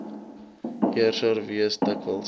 heerser wees dikwels